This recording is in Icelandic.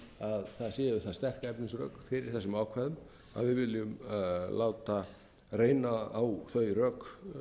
að það séu það sterk efnisrök fyrir þessum ákvæðum að við viljum láta reyna á þau rök